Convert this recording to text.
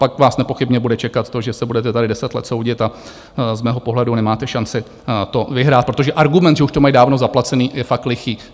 Pak vás nepochybně bude čekat to, že se budete tady deset let soudit a z mého pohledu nemáte šanci to vyhrát, protože argument, že už to mají dávno zaplacené, je fakt lichý.